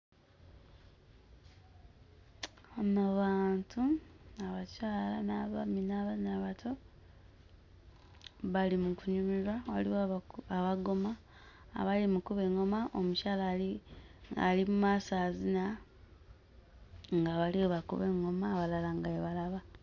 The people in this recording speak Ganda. Bano bantu abakyala n'abaami n'abaana abato bali mu kunyumirwa. Waliwo abako... abagoma abali mu kkuba eŋŋoma, omukyala ali ali mu maaso azina nga bali bwe bakuma eŋŋoma ng'abalala bwe balaba.